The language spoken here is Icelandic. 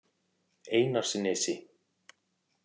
Einarsnesi